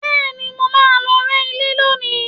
Bẹ́ẹ̀ni, mo máa lọ rẹ́ ilé lónìí